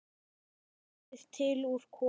Búið til úr kolum!